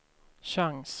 chans